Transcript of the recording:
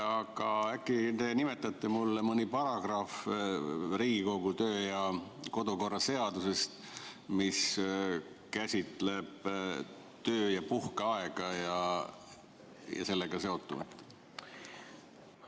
Aga äkki te nimetate siis mulle mõne paragrahvi Riigikogu kodu- ja töökorra seadusest, mis käsitleb töö- ja puhkeaega ja sellega seonduvat?